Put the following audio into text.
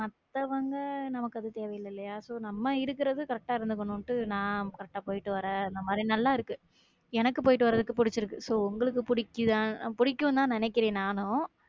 மத்தவங்க, நமக்கு அது தேவை இல்லையா? so நம்ம இருக்கிறது correct ஆ இருந்துக்கணும்ன்னுட்டு நா correct போயிட்டு வர்றேன் அந்த மாரி, நல்லா இருக்கு எனக்கு போயிட்டு வர்றதுக்கு புடிச்சிருக்கு so உங்களுக்கு புடிக்குதா~ புடிக்கும்ன்னுதான் நினைக்கிறேன் நானும்.